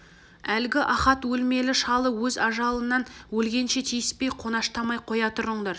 әлгі ахат деген өлмелі шалы өз ажалынан өлгенше тиіспей қонаштамай қоя тұрыңдар